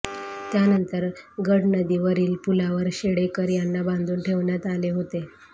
त्यानंतर गडनदीवरील पुलावर शेडेकर यांना बांधून ठेवण्यात आले होते